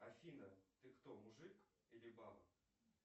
афина ты кто мужик или баба